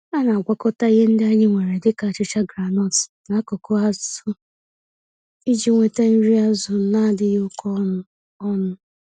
Ana-agwakọta ihe ndị anyị nwere dịka achicha groundnut na akụkụ azụ iji nweta nri azụ nadịghị oké ọnụ. ọnụ.